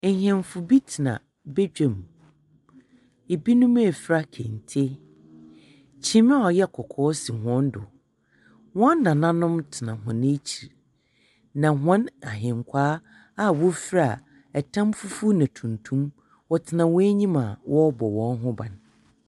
Ahemfo bi tsena bagua mu, binom efura kente. Kyim a ɔyɛ kɔkɔɔ si hɔn do. Hɔn nananom tsena hɔn ekyir na hɔn ahenkwaa a wofura tam fufuw na tuntum, wɔtsena hɔn enyim a wɔrobɔ hɔn ho ban.